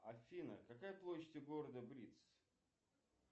афина какая площадь у города бриц